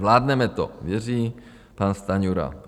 Zvládneme to, věří pan Stanjura.